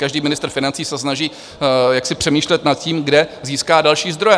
Každý ministr financí se snaží jaksi přemýšlet nad tím, kde získá další zdroje.